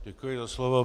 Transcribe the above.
Děkuji za slovo.